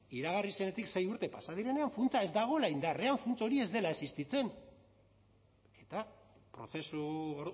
iragarri zenetik sei urte pasa direnean funtsa ez dagoela indarrean funts hori ez dela existitzen eta prozesu